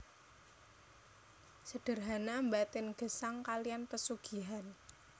Sederhana mbaten gesang kalian pesugihan